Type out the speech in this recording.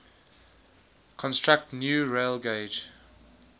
construct new railgauge